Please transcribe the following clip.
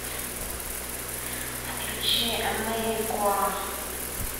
включи америкуа